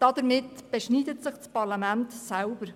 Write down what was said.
Damit beschneidet sich das Parlament selbst.